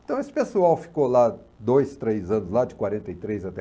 Então, esse pessoal ficou lá dois, três anos, lá de quarenta e três até